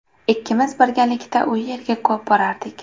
Ikkimiz birgalikda u yerga ko‘p borardik.